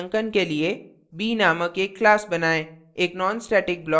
स्वमूल्यांकन के लिए b named एक class बनाएँ